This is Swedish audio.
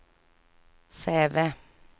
Säve